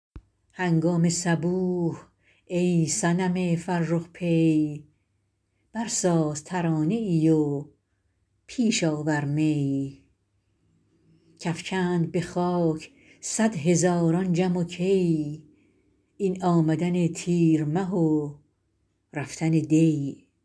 هنگام صبوح ای صنم فرخ پی برساز ترانه ای و پیش آور می کافکند به خاک صدهزاران جم و کی این آمدن تیر مه و رفتن دی